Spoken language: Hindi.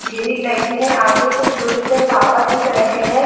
ग्रिल लगी हुई है आगे कुछ दूरी पर टावर दिख रहे हैं।